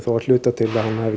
að hluta til hún hafi